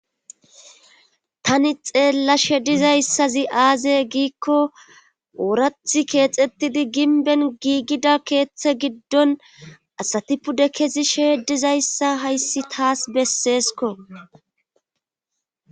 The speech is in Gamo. tani xeella she dizayssazi aaze giikko oorathi keexettidi ginben giigida keeththe giddon asatipude kezi sheedizayssa hayssi taas besseesko